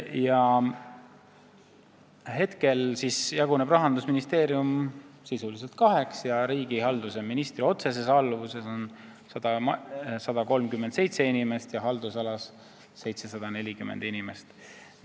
Praegu jaguneb Rahandusministeerium sisuliselt kaheks, riigihalduse ministri otseses alluvuses on 137 inimest ja haldusalas 740 inimest.